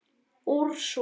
Úrsúla